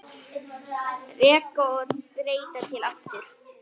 Reka og breyta til aftur?